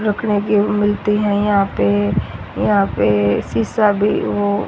रखने की मिलती हैं यहां पे यहां पे शीशा भी हो।